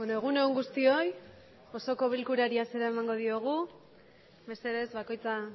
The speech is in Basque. egun on guztioi osoko bilkurari hasiera emango diogu mesedez bakoitza